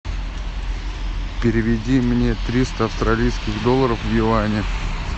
переведи мне триста австралийских долларов в юани